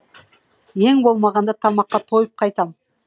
ең болмағанда тамаққа тойып қайтам